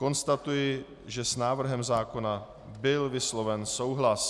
Konstatuji, že s návrhem zákona byl vysloven souhlas.